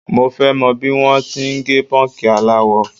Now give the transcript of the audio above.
Mo fẹ́ mọ̀ bí wọ́n ti ń gẹ pọ́ǹkì aláwọ.